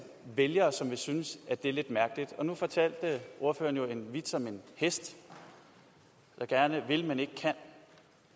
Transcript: vælgere som vil synes at det er lidt mærkeligt nu fortalte ordføreren jo en vits om en hest der gerne vil men ikke kan